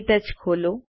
ક્ટચ ખોલો